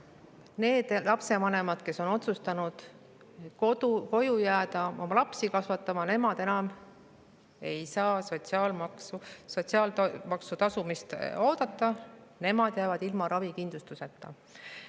Need lapsevanemad, kes on otsustanud koju jääda oma lapsi kasvatama, ei saa enam sotsiaalmaksu tasumist oodata ja jäävad ilma ravikindlustuseta.